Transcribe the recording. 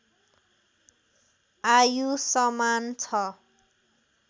आयु समान छ